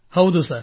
ಹೌದು ಸರ್